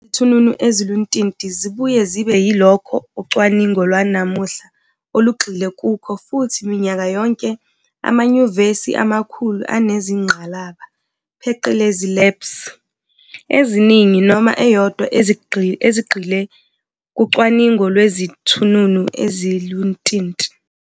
Izithununu eziluntinti zibuye zibe yilokho ucwaningo lwanamuhla olugxile kukho futhi minyaka yonke amanyuvesi amakhulu anezingqalaba, pheqelezi, "labs", eziningi noma eyodwa ezigxile kucwaningo lwezithununu eziluntinti.